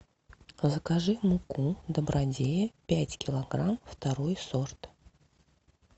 закажи муку добродея пять килограмм второй сорт